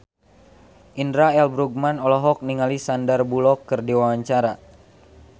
Indra L. Bruggman olohok ningali Sandar Bullock keur diwawancara